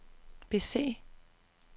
bese